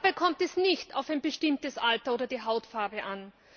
Dabei kommt es nicht auf ein bestimmtes Alter oder die Hautfarbe an.